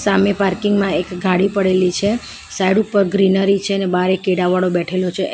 સામે પાર્કિંગ માં એક ગાડી પડેલી છે સાઇડ ઉપર ગ્રીનરી છે અને બહાર એક કેડાવાળો બેઠેલો છે.